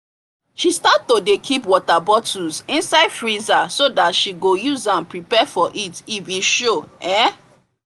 she start to dey keep water bottles insite freezer so that she go useam prepare for heat if e show um